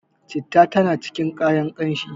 citta tana cikin kayan kanshi